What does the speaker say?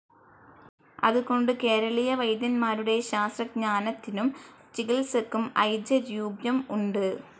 അതുകൊണ്ട് കേരളീയ വൈദ്യന്മാരുടെ ശാസ്ത്രജ്ഞാനത്തിനും ചികിത്സക്കും ഐജരൂപ്യം ഉണ്ട്.